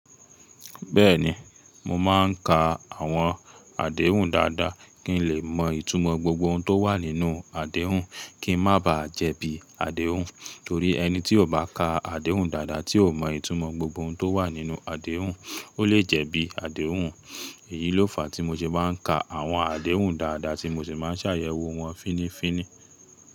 Bẹ́ẹ̀ni, mo máa ń ka àwọn àdéhùn dáadáa kí n lè mọ ìtumọ̀ gbogbo ohun tó wà nínú àdéhùn, kí n má ba jẹ̀bi àdéhùn, torí ẹni tí kò bá ka àdéhùn dáadáa, tí kò mọ ìtumọ̀ gbogbo ohun tó wà nínú àdéhùn, ó lè jẹ̀bi àdéhùn. Èyí ló fàá tí mo ṣe má ń ka àwọn àdéhùn dáadáa tí mo sì máa ń ṣàyẹ̀wò wọ́n fínnífínní.